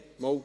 Abstimmung